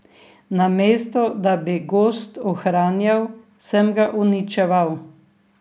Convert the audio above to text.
Namesto da bi gozd ohranjal, sem ga uničeval.